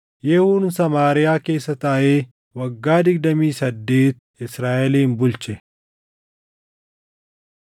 Yehuun Samaariyaa keessa taaʼee waggaa digdamii saddeet Israaʼelin bulche.